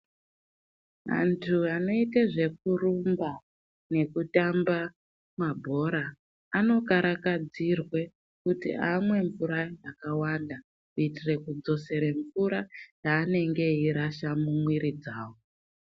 Antu anoite zvekurumba nekutambe mabhora anokarakadzirwe kuti amwe mvura yakawanda kuitire kudzosere mvura yaanenge eirasha mumwiri dzawo.